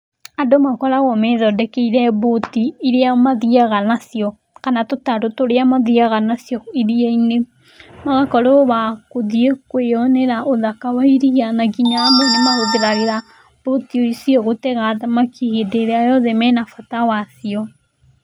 Andũ makoragwo methondekeire mbũti iria mathiaga nacio, kana tũtarũ tũrĩa mathiaga nacio iria-inĩ. Magakorwo wa kũthiĩ kwĩyonera ũthaka wa iria na nginya amwe nĩmaũthagĩra mbũti ici gũtega thamaki hĩndĩ ĩrĩa menabata wacio.